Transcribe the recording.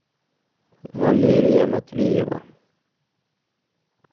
валерия матвеева